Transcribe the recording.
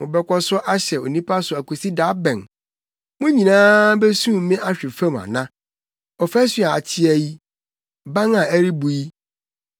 Mobɛkɔ so ahyɛ onipa so akosi da bɛn, mo nyinaa besum me ahwe fam ana? Ɔfasu a akyea yi, ban a ɛrebu yi?